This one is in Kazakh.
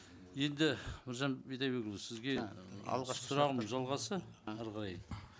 енді біржан бидайбекұлы сізге алғашқы сұрағымның жалғасы әрі қарай